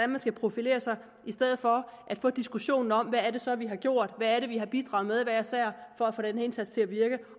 man skal profilere sig i stedet for at få diskussionen om hvad det så er vi har gjort hvad det er vi har bidraget med hver især for at få den indsats til at virke